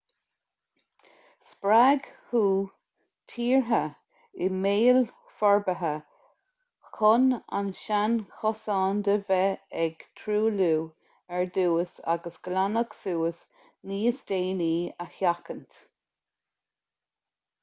spreag hu tíortha i mbéal forbartha chun an seanchosán de bheith ag truailliú ar dtús agus glanadh suas níos déanaí a sheachaint